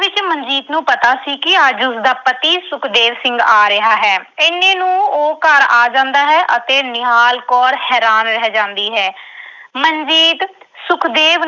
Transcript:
ਵਿੱਚ ਮਨਜੀਤ ਨੂੰ ਪਤਾ ਸੀ ਕਿ ਅੱਜ ਉਸਦਾ ਪਤੀ ਸੁਖਦੇਵ ਸਿੰਘ ਆ ਰਿਹਾ ਹੈ। ਇੰਨੇ ਨੂੰ ਉਹ ਘਰ ਆ ਜਾਂਦਾ ਹੈ ਅਤੇ ਨਿਹਾਲ ਕੌਰ ਹੈਰਾਨ ਰਹਿ ਜਾਂਦੀ ਹੈ। ਮਨਜੀਤ ਸੁਖਦੇਵ